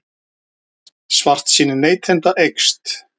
Svartsýni neytenda eykst